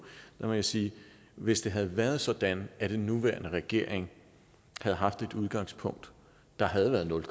må jeg sige at hvis det havde været sådan at den nuværende regering havde haft et udgangspunkt der havde været nul